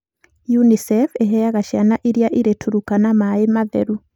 UNICEF ĩheaga ciana iria irĩ Turkana maĩ matheru.